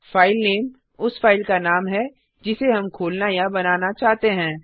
filename उस file का नाम है जिसे हम खोलना या बनाना चाहते हैं